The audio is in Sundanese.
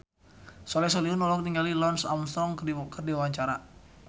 Soleh Solihun olohok ningali Lance Armstrong keur diwawancara